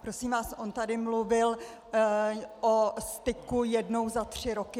Prosím vás, on tady mluvil o styku jednou za tři roky.